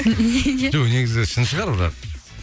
жоқ негізі шын шығар бірақ